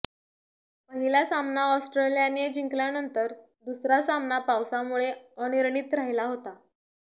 पहिला सामना ऑस्ट्रेलियाने जिंकल्यानंतर दुसरा सामना पावसामुळे अनिर्णित राहिला होता